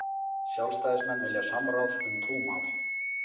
Sjálfstæðismenn vilja samráð um trúmál